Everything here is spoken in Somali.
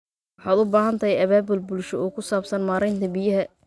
Waxaad u baahan tahay abaabul bulsho oo ku saabsan maareynta biyaha.